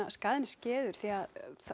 skaðinn er skeður því